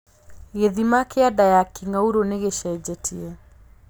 Gĩthima kĩa nda ya kĩng'aurũ nĩ gĩcenjetie